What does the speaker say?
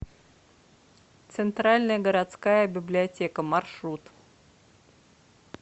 центральная городская библиотека маршрут